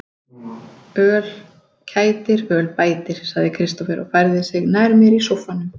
Öl kætir, öl bætir, sagði Kristófer og færði sig nær mér í sóffanum.